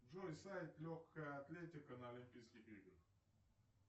джой сайт легкая атлетика на олимпийских играх